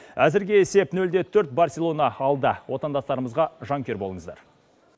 әзірге есеп нөл де төрт барселона алда отандастарымызға жанкүйер болыңыздар